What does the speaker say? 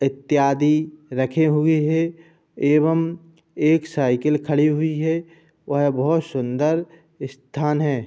इत्‍यादि रखे हुए है एवं एक साईकिल खड़ी हुई है | वह बहुत सुन्‍दर स्‍थान है ।